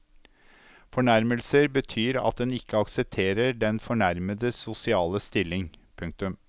Fornærmelser betyr at en ikke aksepterer den fornærmedes sosiale stilling. punktum